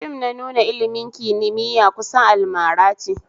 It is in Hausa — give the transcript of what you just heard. Fim na nuna ilmin kimiya kusan almarace